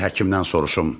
Qoy həkimdən soruşum.